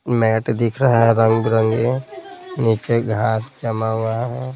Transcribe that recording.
Mat दिख रहा है रंग बरंगे नीचे घास जमा हुआ है।